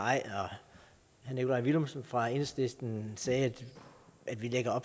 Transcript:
herre nikolaj villumsen fra enhedslisten sagde at vi lægger